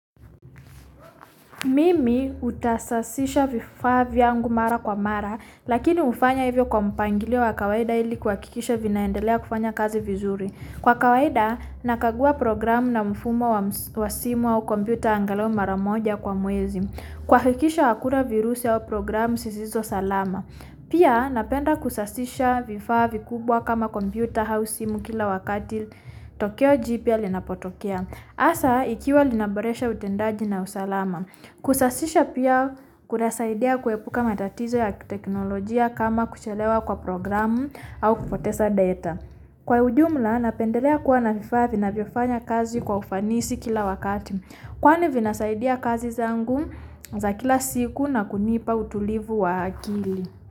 Mimi uta sasisha vifaa viyangu mara kwa mara, lakini wufanya ivyo kwa mpangilio wakawaida ili kwa kikisha vina hendelea kufanya kazi vizuri. Kwa kawaida, nakagua programu na mfumo wa simu au computer angalao mara moja kwa mwezi. Kwa kikisha akuna virusi awo programu sisizo salama. Pia, napenda kusasisha vifaa vikubwa kama computer hau simu kila wakadil tokeo jipia linapotokia. Asa, ikiwa linaboresha utendaji na usalama. Kusasisha piya kunasaidiya kwepuka matatizo ya teknologia kama kuchelewa kwa programu au kupotesa data. Kwa ujumla, napendalea kuwa na vifaa vinaviofanya kazi kwa ufanisi kila wakati. Kwani vina saidiya kazi zangu za kila siku na kunipa utulivu wa akili.